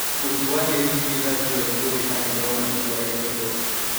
Mũtuanĩri cira Joel Ngugi agĩthoma itua rĩa igooti.